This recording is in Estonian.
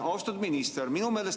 Austatud minister!